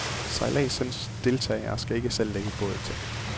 Sejladsens deltagere skal ikke selv lægge båd til.